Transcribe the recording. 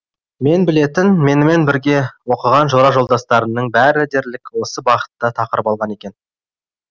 мен білетін менімен бірге оқыған жора жолдастарымның бәрі дерлік осы бағытта тақырып алған екен